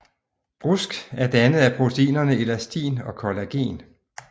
Brusk er dannet af proteinerne elastin og collagen